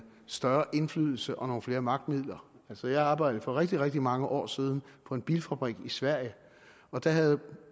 større indflydelse og nogle flere magtmidler altså jeg arbejdede for rigtig rigtig mange år siden på en bilfabrik i sverige og der havde